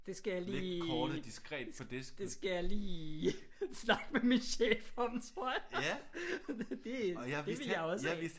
Det skal jeg lige det skal jeg lige snakke med min chef om tror jeg. Det det vil jeg også have